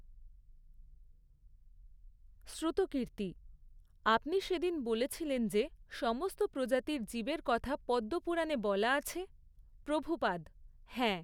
শ্রুতকীর্তি আপনি সেদিন বলছিলেন যে সমস্ত প্রজাতির জীবের কথা পদ্মপুরাণে বলা আছে? প্রভুপাদ হ্যাঁ।